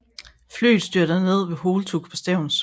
Flyet styrter ned ved Holtug på Stevns